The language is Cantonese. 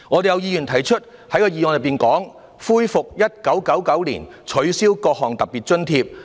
有議員在其修正案中提出"恢復發放於1999年取消的各項特別津貼"。